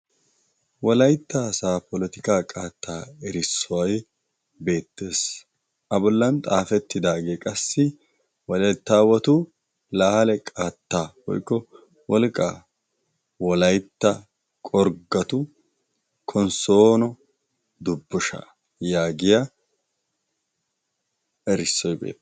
Wolaytta asaa polotika qaattaa erissuway beettees. a bollan xaafettidaagee qassi walaytta awatu lahale qaatta boikko wolqqaa wolaytta qorggatu konssoono dubbusha yaagiya erissoi beettees.